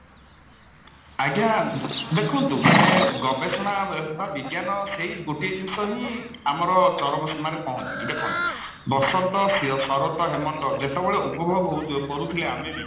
ଆଜ୍ଞା ଦେଖନ୍ତୁ ମାନେ ଗବେଷଣା ବା ବିଜ୍ଞାନ ସେଇ ଗୋଟିଏ ଜିନିଷ ହିଁ ଆମର ଚରମ ସୀମାରେ ପହଞ୍ଚୁଛି ଦେଖନ୍ତୁ ବସନ୍ତ ଶରତ ହେମନ୍ତ ଯେତେବେଳେ ଉପଭୋଗ ହଉଥିବ କରୁଥିଲେ ଆମେ ବି